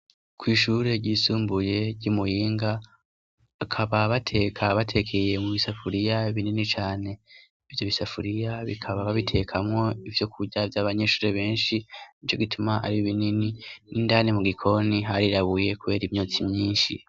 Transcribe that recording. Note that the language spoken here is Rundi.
Kw'ishure ryisumbuye ry'i Muyinga, bakaba bateka batekeye mu bisafuriya binini cane, ivyo bisafuriya bakaba babitekamwo ivyokurya vy'abanyeshure benshi, nico gituma ari binini n'indani mu gikoni harirabuye kubera imyotsi myinshi.